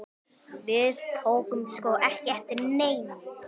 Við tókum sko ekki eftir neinu.